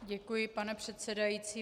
Děkuji, pane předsedající.